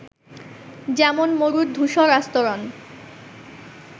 যেমন মরুর ধূসর আস্তরন